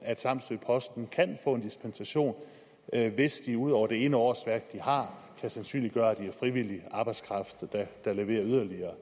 at samsø posten kan få en dispensation hvis de ud over det ene årsværk de har kan sandsynliggøre at de har frivillig arbejdskraft der leverer yderligere